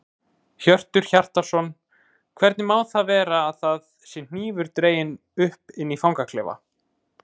Hjörtur Hjartarson: Hvernig má það vera að það sé hnífur dreginn upp inni í fangaklefa?